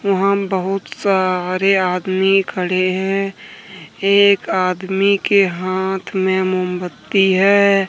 वहां में बहुत सारे आदमी खड़े हैं एक आदमी के हाथ में मोमबत्ती है।